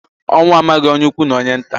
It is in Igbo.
Ọnwụ amaghị onye ukwu na onye nta